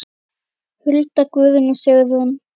Hulda, Guðrún og Sigrún.